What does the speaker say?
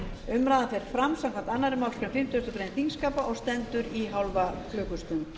umræðan fer fram samkvæmt annarri málsgrein fimmtugustu grein þingskapa og stendur í hálfa klukkustund